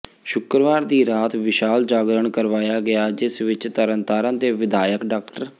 ਸ਼ੁੱਕਰਵਾਰ ਦੀ ਰਾਤ ਵਿਸ਼ਾਲ ਜਾਗਰਣ ਕਰਵਾਇਆ ਗਿਆ ਜਿਸ ਵਿਚ ਤਰਨਤਾਰਨ ਦੇ ਵਿਧਾਇਕ ਡਾ